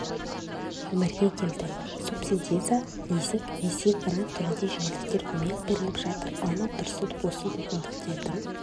өмірге келді субсидия лизинг несие грант түрінде жеңілдіктер көмек беріліп жатыр алмат тұрсынов осы мүмкіндіктердің